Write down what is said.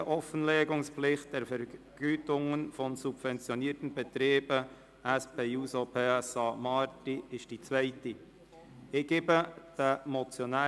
Restriktivere Offenlegungspflicht der Vergütungen von subventionierten Betrieben» von der SP-JUSO-PSA-Fraktion ist die zweite Motion.